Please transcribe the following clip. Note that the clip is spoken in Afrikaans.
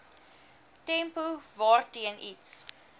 tempo waarteen iets